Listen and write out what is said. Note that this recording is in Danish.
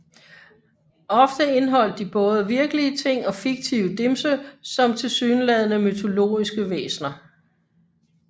Ofte indholdt de både virkelige ting og fiktive dimse som tilsyneladende mytologiske væsner